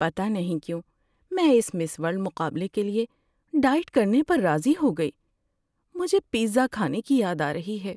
پتہ نہیں کیوں میں اس مِس ورلڈ مقابلے کے لیے ڈائٹ کرنے پر راضی ہو گئی۔ مجھے پیزا کھانے کی یاد آ رہی ہے۔